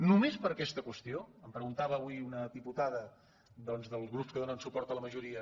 només per aquesta qüestió em preguntava avui una diputada doncs dels grups que donen suport a la ma·joria